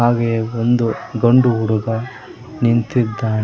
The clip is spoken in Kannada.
ಹಾಗೆ ಒಂದು ಗಂಡು ಹುಡುಗ ನಿಂತಿದ್ದಾನೆ.